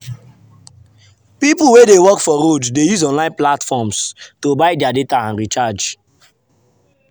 people wey dey work for road dey use online platforms to buy their data and recharge.